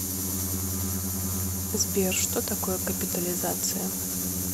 сбер что такое капитализация